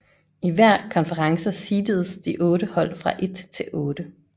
I hver konference seededes de otte hold fra 1 til 8